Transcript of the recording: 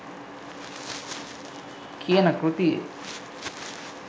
කියන කෘතියේ